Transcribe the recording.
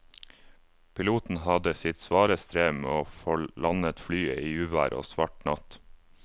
Piloten hadde sitt svare strev med å få landet flyet i uvær og svart natt.